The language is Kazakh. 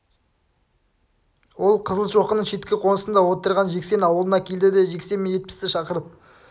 ол қызылшоқының шеткі қонысында отырған жексен аулына келді де жексен мен жетпісті шақырып